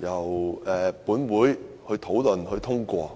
經本會討論後通過。